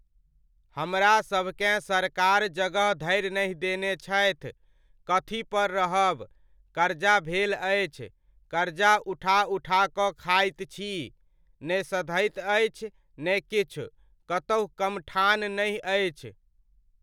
हमरासभकेँ सरकार जगह धरि नहि देने छथि, कथी पर रहब? करजा भेल अछि, करजा उठा उठा कऽ खाइत छी। ने सधैत अछि, ने किछु, कतहु कमठान नहि अछि।